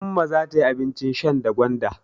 Umma za ta yi abin shan da gwanda.